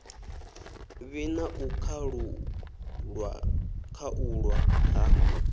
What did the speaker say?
vhi na u khaulwa ha